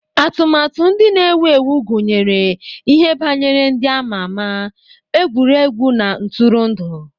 Atụmatụ ndị na-ewu ewu gụnyere ihe banyere ndị a ma ama, egwuregwu na ntụrụndụ.